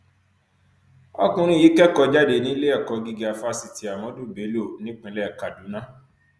ọkùnrin yìí kẹkọọ jáde níléẹkọ gíga fáṣítì ahmadu bello nípínlẹ kaduna